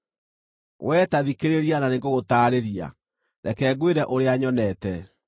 “Wee ta thikĩrĩria na nĩngũgũtaarĩria; reke ngwĩre ũrĩa nyonete,